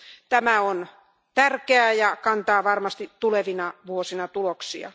Tämä on tärkeää ja kantaa varmasti tulevina vuosina tuloksia.